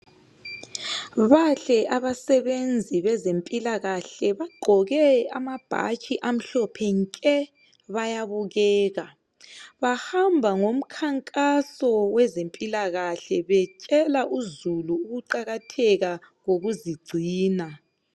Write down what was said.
Bahle abasebenzi bezempilakahle bagqoke amabhatshi amhlophe nke bayabukeka. Bahamba ngomkhankaso wezempilakahle betshela uzulu ngokuqakatheka kokuzigcina.